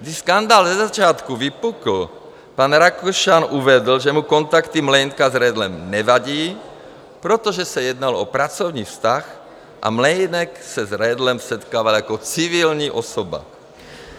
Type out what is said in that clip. Když skandál na začátku vypukl, pan Rakušan uvedl, že mu kontakty Mlejnka s Redlem nevadí, protože se jednalo o pracovní vztah a Mlejnek se s Redlem setkával jako civilní osoba.